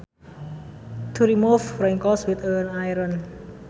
To remove wrinkles with an iron